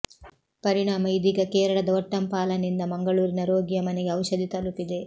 ಪರಿಣಾಮ ಇದೀಗ ಕೇರಳದ ಒಟ್ಟಂಪಾಲನಿಂದ ಮಂಗಳೂರಿನ ರೋಗಿಯ ಮನೆಗೆ ಔಷಧಿ ತಲುಪಿದೆ